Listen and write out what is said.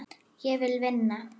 Ég vil vinna.